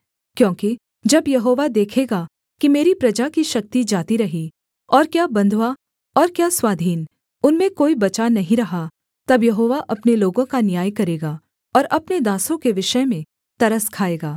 क्योंकि जब यहोवा देखेगा कि मेरी प्रजा की शक्ति जाती रही और क्या बन्धुआ और क्या स्वाधीन उनमें कोई बचा नहीं रहा तब यहोवा अपने लोगों का न्याय करेगा और अपने दासों के विषय में तरस खाएगा